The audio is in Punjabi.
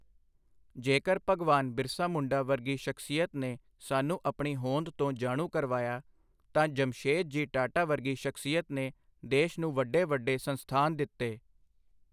ਜੇਕਰ ਭਗਵਾਨ ਬਿਰਸਾ ਮੁੰਡਾ ਵਰਗੀ ਸ਼ਖਸੀਅਤ ਨੇ ਸਾਨੂੰ ਆਪਣੀ ਹੋਂਦ ਤੋਂ ਜਾਣੂ ਕਰਵਾਇਆ ਤਾਂ ਜਮਸ਼ੇਦ ਜੀ ਟਾਟਾ ਵਰਗੀ ਸ਼ਖਸੀਅਤ ਨੇ ਦੇਸ਼ ਨੂੰ ਵੱਡੇ ਵੱਡੇ ਸੰਸਥਾਨ ਦਿੱਤੇ।